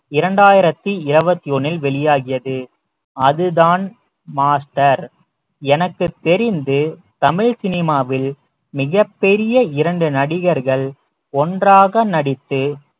இரண்டாயிரத்தி இருபத்தி ஒண்ணில் வெளியாகியது அதுதான் மாஸ்டர் எனக்குத் தெரிந்து தமிழ் சினிமாவில் மிகப் பெரிய இரண்டு நடிகர்கள் ஒன்றாக நடித்து